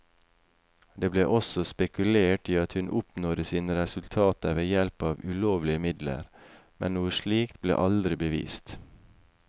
Det ble også spekulert i at hun oppnådde sine resultater ved hjelp av ulovlige midler, men noe slikt ble aldri bevist.